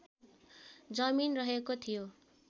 जमिन रहेको थियो